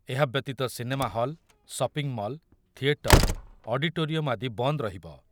ଏହା ବ୍ୟତୀତ cinema hall, shopping mall, theatre, auditorium ଆଦି ବନ୍ଦ ରହିବ।